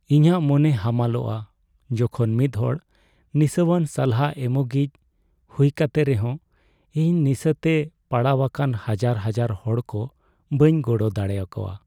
ᱤᱧᱟᱹᱜ ᱢᱚᱱᱮ ᱦᱟᱢᱟᱞᱚᱜᱼᱟ ᱡᱚᱠᱷᱚᱱ ᱢᱤᱫᱦᱚᱲ ᱱᱤᱥᱟᱣᱟᱱ ᱥᱟᱞᱦᱟ ᱮᱢᱚᱜᱤᱡ ᱦᱩᱭ ᱠᱟᱛᱮ ᱨᱮᱦᱚᱸ ᱤᱧ ᱱᱤᱥᱟᱹᱛᱮ ᱯᱟᱲᱟᱣᱟᱠᱟᱱ ᱦᱟᱡᱟᱨ ᱦᱟᱡᱟᱨ ᱦᱚᱲᱠ ᱵᱟᱹᱧ ᱜᱚᱲᱚ ᱫᱟᱲᱮᱭᱟᱠᱚᱣᱟ ᱾